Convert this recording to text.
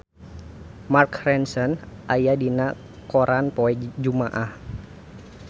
Mark Ronson aya dina koran poe Jumaah